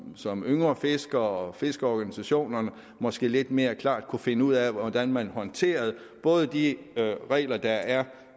som yngre fisker og fiskerorganisation måske lidt mere klart kan finde ud af hvordan man både håndterer de regler der er